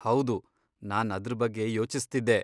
ಹೌದು, ನಾನ್ ಅದ್ರ್ ಬಗ್ಗೆ ಯೋಚಿಸ್ತಿದ್ದೆ.